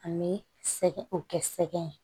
An bɛ sɛgɛn o kɛ sɛgɛn